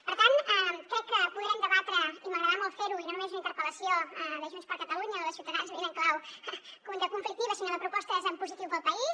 per tant crec que podrem debatre i m’agradarà molt fer ho i no només en una interpel·lació de junts per catalunya o de ciutadans més en clau conflictiva sinó de propostes en positiu per al país